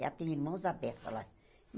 Ela tem irmãos a beça lá.